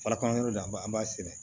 Farafinnɔn da an b'a an b'a sɛnɛ